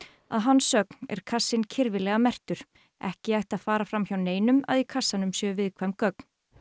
að hans sögn er kassinn kirfilega merktur ekki ætti að fara fram hjá neinum að í kassanum séu viðkvæm gögn